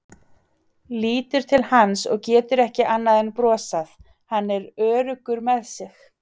Lítur til hans og getur ekki annað en brosað, hann er svo öruggur með sig.